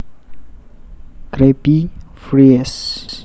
Krabby Fries